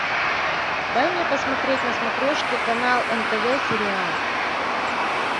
дай мне посмотреть на смотрешке канал нтв сериал